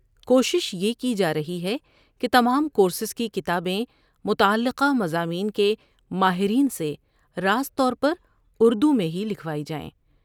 کوشش یہ کی جارہی ہے کہ تمام کورسز کی کتابیں متعلقہ مضامین کے ماہرین سے راست طور پر اردو میں ہی لکھوائی جائیں۔